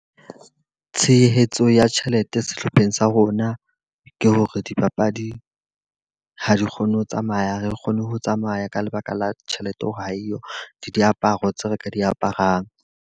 Tshehetso ya tjhelete sehlopheng sa rona ke hore dipapadi ha di kgone ho tsamaya, ha re kgone ho tsamaya ka lebaka la tjhelete hore ha eyo le diaparo tseo re ka di aparang.